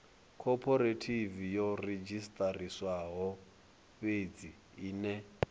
khophorethivi yo redzhisiṱarisiwaho fhedzi ine